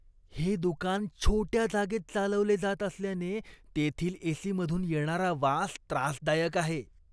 हे दुकान छोट्या जागेत चालवले जात असल्याने तेथील एसी मधून येणारा वास त्रासदायक आहे.